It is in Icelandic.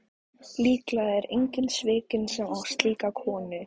Líklega er enginn svikinn sem á slíka konu.